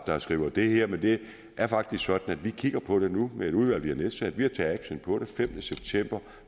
der skriver det her men det er faktisk sådan at vi kigger på det nu med et udvalg vi har nedsat vi har taget action på det femte september